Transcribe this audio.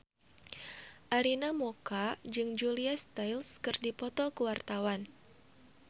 Arina Mocca jeung Julia Stiles keur dipoto ku wartawan